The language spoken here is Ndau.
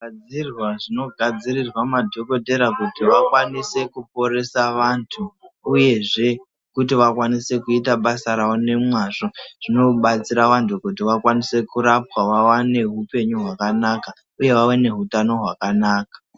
Zvigadzirwa zvinogadzirirwa nadhokodhera kuti vakwanise kuporesa vantu uyezve kuti vakwanise kuita basa ravo nemwazvo zvinobatsira vantu kuti vakwanise kurapwa vawane upenyu hwakanaka uye vawane hutano hwakanaka.